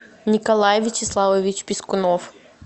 николай вячеславович пискунов